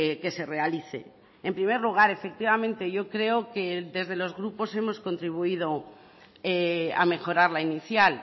que se realice en primer lugar efectivamente yo creo que desde los grupos hemos contribuido a mejorar la inicial